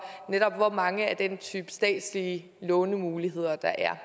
hvor mange af den type statslige lånemuligheder der er er